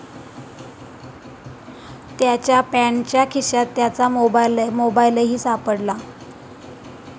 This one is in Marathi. त्याच्या पॅन्टच्या खिशात त्याचा मोबाईलही सापडला.